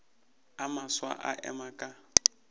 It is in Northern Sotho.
a mafsa a ema ka